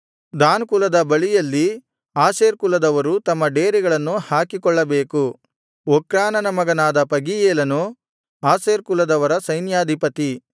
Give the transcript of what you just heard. than ಕುಲದ ಬಳಿಯಲ್ಲಿ Asher ಕುಲದವರು ತಮ್ಮ ಡೇರೆಗಳನ್ನು ಹಾಕಿಕೊಳ್ಳಬೇಕು ಒಕ್ರಾನನ ಮಗನಾದ ಪಗೀಯೇಲನು ಆಶೇರ್ ಕುಲದವರ ಸೈನ್ಯಾಧಿಪತಿ